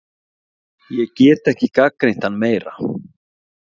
Ég get ekki gagnrýnt hann meira.